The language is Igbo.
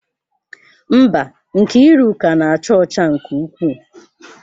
Mba, Nkiruka na-acha ọcha nke ukwuu.